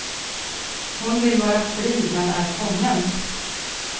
Hon vill vara fri men är fången.